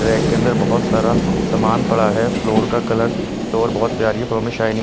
rack के अंदर बहोत सारा सामान पड़ा है फ्लोर का कलर फ्लोर बहोत प्यारी फ्लोर में शाइनिंग --